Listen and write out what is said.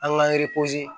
An k'an